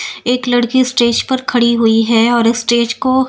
एक लड़की स्टेज पर खड़ी हुई है और स्टेज को --